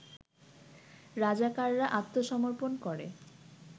রাজাকাররা আত্মসমর্পন করে